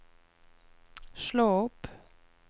slå opp